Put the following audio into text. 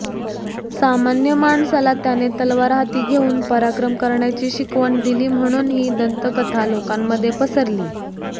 सामान्य माणसाला त्याने तलवार हाती घेऊन पराक्रम करण्याची शिकवण दिली म्हणून ही दंतकथा लोकांमध्ये पसरली